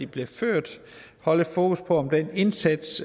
bliver ført holde fokus på om den indsats